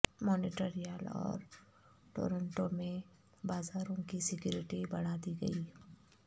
Montreal اور Toronto میں بازاروں کی سیکیورٹی بڑھا دی گئی